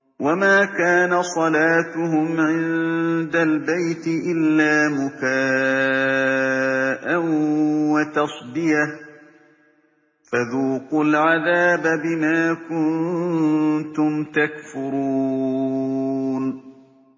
وَمَا كَانَ صَلَاتُهُمْ عِندَ الْبَيْتِ إِلَّا مُكَاءً وَتَصْدِيَةً ۚ فَذُوقُوا الْعَذَابَ بِمَا كُنتُمْ تَكْفُرُونَ